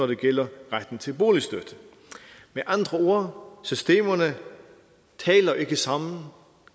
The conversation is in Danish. det gælder retten til boligstøtte med andre ord systemerne taler ikke sammen